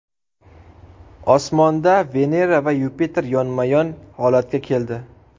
Osmonda Venera va Yupiter yonma-yon holatga keldi.